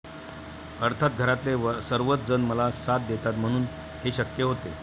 अर्थात घरातले सर्वच जण मला साथ देतात, म्हणून हे शक्य होते.